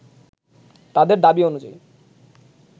তাদের দাবি অনুযায়ী